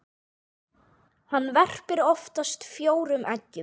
Hann verpir oftast fjórum eggjum.